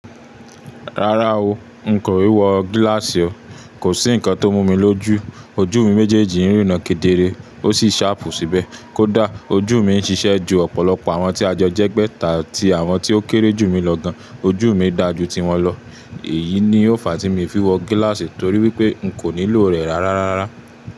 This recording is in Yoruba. Rárá o, n kò e wọ gíláàsì o. Kò sí ǹkan tó mú mi lójú. Ojú mi méjèèjì ń ríran kedere ó sì ṣàpù síbẹ̀. Kódà ojú mi ń ṣiṣẹ́ ju ọ̀pọ̀lọpọ̀ àwọn tí ajọ jẹ́gbẹ́ ta tí àwọn tí ó kéré jù mí lọ gan. Ojú mi dáa ju tí wọn lọ. Èyí ni ó fàá tí mi fi wọ gíláàsì torí wípé n kò nílò rẹ̀ rárá rárá.